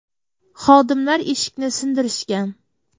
Xodimlar eshikni sindirishgan.